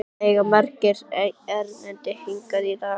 Það eiga margir erindi hingað í dag.